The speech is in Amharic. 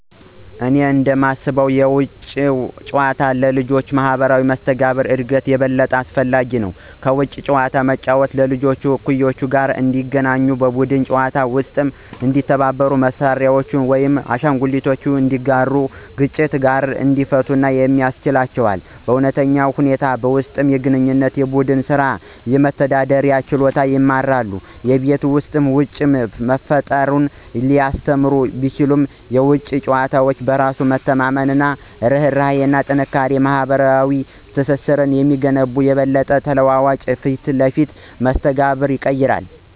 እኔ እንደማስበው የውጪ ጨዋታ ለልጆች ማህበራዊ መስተጋብር እድገት የበለጠ አስፈላጊ ነው። ከቤት ውጭ መጫወት ልጆች ከእኩዮቻቸው ጋር እንዲገናኙ, በቡድን ጨዋታዎች ውስጥ እንዲተባበሩ, መሳሪያዎችን ወይም አሻንጉሊቶችን እንዲጋሩ እና ግጭቶችን በጋራ እንዲፈቱ ያስችላቸዋል. በእውነተኛ ሁኔታዎች ውስጥ የግንኙነት፣ የቡድን ስራ እና የመደራደር ችሎታን ይማራሉ። የቤት ውስጥ ጨዋታ ፈጠራን ሊያስተምር ቢችልም፣ የውጪ ጨዋታ በራስ መተማመንን፣ ርህራሄን እና ጠንካራ ማህበራዊ ትስስርን የሚገነቡ ይበልጥ ተለዋዋጭ እና ፊት ለፊት መስተጋብር ያቀርባል።